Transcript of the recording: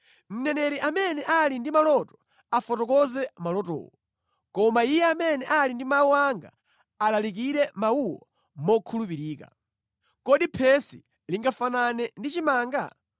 Mneneri amene ali ndi maloto afotokoze malotowo. Koma iye amene ali ndi mawu anga alalikire mawuwo mokhulupirika. Kodi phesi lingafanane ndi chimanga?